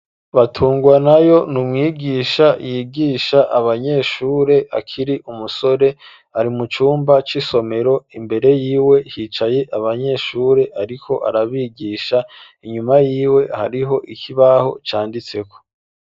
Batungwanayo n'umwigisha yigisha abanyeshure akiri umusore ari mu cumba c'isomero imbere yiwe hicaye abanyeshure ariko arabigisha inyuma yiwe hariho ikibaho canditseko